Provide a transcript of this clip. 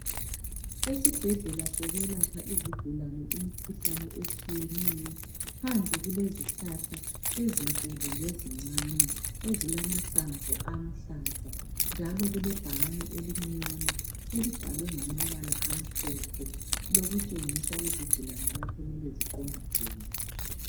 Esibhedlela sokwelapha izigulane imikhuhlane etshiyeneyo. Phandle kulezihlahla ,.ezinkulu lezincane. Ezilamahlamvu aluhlaza, njalo kulebhakane, elimnyama. Elibhalwe ngamabala amhlophe elokutshengisa izigulane kapho okumele ziqonde khona.